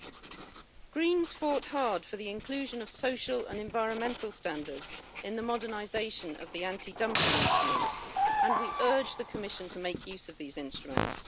The Greens fought hard for the inclusion of social and environmental standards in the modernisation of the anti dumping instruments, and we urge the Commission to make use of these instruments.